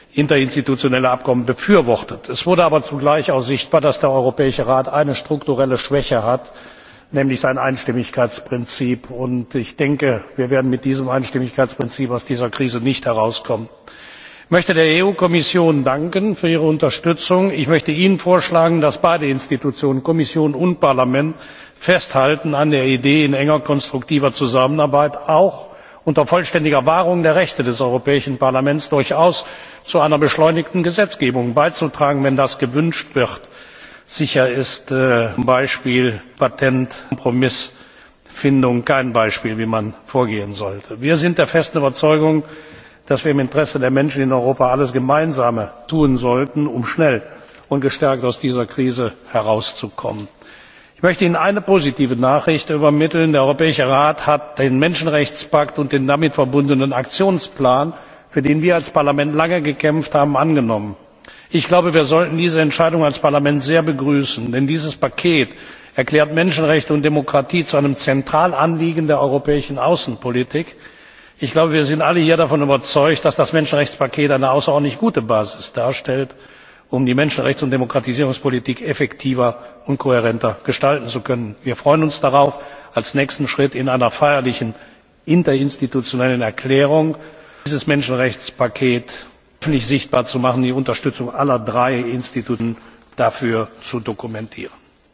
Eine Kommentierung scheint mir deshalb hier angebracht. Ich will Ihnen nicht verhehlen, dass es eine überwältigende Zustimmung im Europäischen Rat zu unserem Vorschlag gab. Die überwiegende Mehrheit der Regierungschefs der Europäischen Union hat dieses Interinstitutionelle Abkommen befürwortet. Es wurde aber zugleich auch sichtbar, dass der Europäische Rat eine strukturelle Schwäche hat, nämlich sein Einstimmigkeitsprinzip. Und ich denke, wir werden mit diesem Einstimmigkeitsprinzip aus dieser Krise nicht herauskommen. Ich danke der Kommission für ihre Unterstützung. Ich möchte Ihnen vorschlagen, dass beide Institutionen, Kommission und Parlament, festhalten an der Idee, in enger, konstruktiver Zusammenarbeit und auch unter vollständiger Wahrung der Rechte des Europäischen Parlaments durchaus zu einer beschleunigten Gesetzgebung beizutragen, wenn das gewünscht wird. Sicher ist z. B. die Kompromissfindung im Bereich des europäischen Patents kein Beispiel dafür, wie vorgegangen werden sollte. Wir sind der festen Überzeugung, dass wir im Interesse der Menschen in Europa gemeinsam alles tun sollen, um schnell und gestärkt aus dieser Krise herauszukommen. Ich möchte Ihnen eine positive Nachricht übermitteln Der Europäische Rat hat den Menschenrechtspakt und den damit verbundenen Aktionsplan, für den wir als Parlament lange gekämpft haben, angenommen. Ich glaube, wir sollten diese Entscheidung als Europäisches Parlament sehr begrüßen, denn dieses Paket erklärt Menschenrechte und Demokratie zu einem zentralen Anliegen der europäischen Außenpolitik. Wir alle hier sind davon überzeugt, dass das Menschenrechtspaket eine außerordentlich gute Basis darstellt, um die Menschenrechts und Demokratisierungspolitik effektiver und kohärenter gestalten zu können. Wir freuen uns darauf, als nächsten Schritt in einer feierlichen interinstitutionellen Erklärung dieses Menschenrechtspaket öffentlich sichtbar zu machen und die Unterstützung aller drei Organe dafür zu dokumentieren.